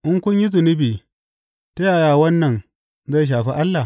In kun yi zunubi ta yaya wannan zai shafi Allah?